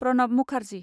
Pranab Mukherjee